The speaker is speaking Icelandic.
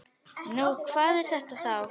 Nú, hvað er þetta þá?